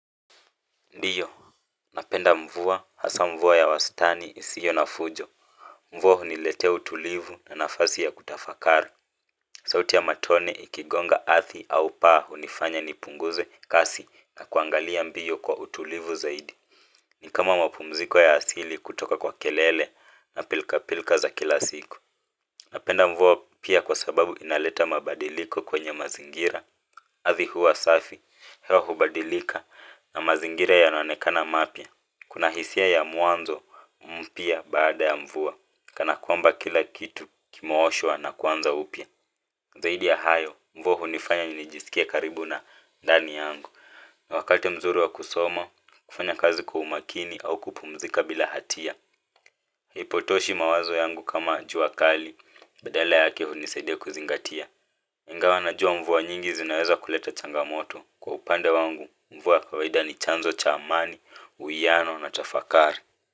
Ndiyo, napenda mvua, hasa mvua ya wastani isiyo na fujo. Mvua huniletea utulivu na nafasi ya kutafakari sauti ya matone ikigonga ardhi au paa hunifanya nipunguze kasi na kuangalia mbio kwa utulivu zaidi. Ni kama mapumziko ya asili kutoka kwa kelele na pilka pilka za kila siku. Napenda mvuwa pia kwa sababu inaleta mabadiliko kwenye mazingira. Ardhi huwa safi, hewa hubadilika na mazingira yanaonekana mapya. Kuna hisia ya mwanzo mpya baada ya mvua kana kwamba kila kitu kimeoshwa na kuanza upya zaidi ya hayo mvua hunifanya nijisikie karibu na ndani yangu wakati mzuri wa kusoma, kufanya kazi kwa umakini au kupumzika bila hatia. Hipotoshi mawazo yangu kama juakali. Badale yake hunisaidia kuzingatia ingawa najua mvua nyingi zinaweza kuleta changamoto kwa upande wangu mvua kawaida ni chanzo cha amani, uiyano na tafakari.